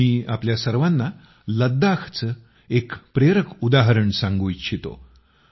मी आपल्यासर्वांना लद्दाखचे एक प्रेरक उदाहरण सांगू इच्छितो